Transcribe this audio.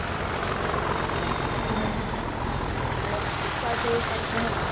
હમ પન એમાં સીખવા જેવું ઘણું આવે